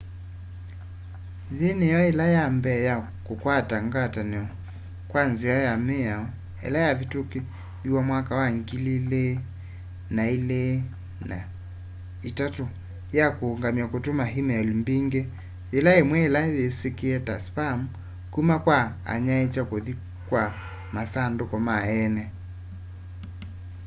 yiĩ nĩyo yila ya mbee ya kũkwata ngatanio kwa nzĩa ya mĩao ila yavitumikithiwe mwaka wa 2003 ya kuũngamya kũtũma e-mail mbingĩ yĩla yĩmwe ila syĩsikie ta spam kuma kwa anyaiicha kũthi kwa masandũkũ ma eene